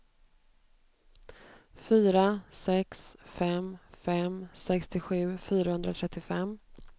fyra sex fem fem sextiosju fyrahundratrettiofem